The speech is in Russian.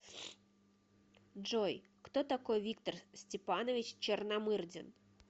джой кто такой виктор степанович черномырдин